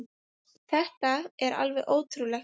Þetta er alveg ótrúlegt.